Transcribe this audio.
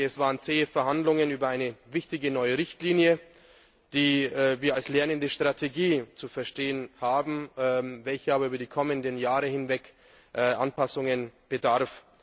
Es waren zähe Verhandlungen über eine wichtige neue Richtlinie, die wir als lernende Strategie zu verstehen haben, die aber über die kommenden Jahre hinweg Anpassungen bedarf.